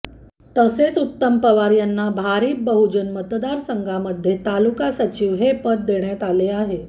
तसेच उत्तम पवार यांना भारिप बहूजन महासंघमध्ये तालुका सचिव हे पद देण्यात आलं आहे